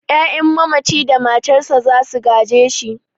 'Ya'yan mamaci da matarsa za su gaje shi.